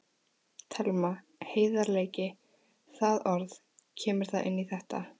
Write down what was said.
Telma: Heiðarleiki, það orð, kemur það inn í þetta?